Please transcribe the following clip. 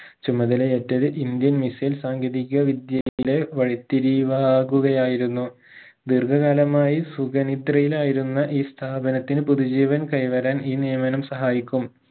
ചുമതലയേറ്റത് indian missile സാങ്കേതിക വിദ്യയിലെ വഴിത്തിരിവാകുകയായിരുന്നു ദീർഘകാലമായി സുഖനിദ്രയിലായിരുന്ന ഈ സ്ഥാപനത്തിന് പുതുജീവൻ കൈ വരാൻ ഈ നിയമനം സഹായിക്കും